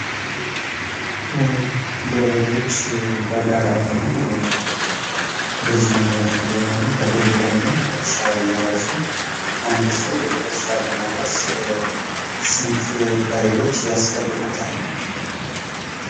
ገበሬዎች በጋራ ሆነው፣ በጅምላ ፣ በአንድ ላይ ሆነው በደቦ ሆነው እርሻ እያረሱ። አንድ ሰው እርሻ ለማረስ ስንት በሬዎች ያስፈልጉታል?